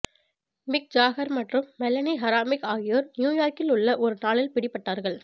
மிக் Jagger மற்றும் Melanie Hamrick ஆகியோர் நியூயார்க்கில் உள்ள ஒரு நாளில் பிடிபட்டார்கள்